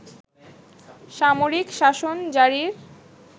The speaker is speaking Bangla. সামরিক শাসন জারির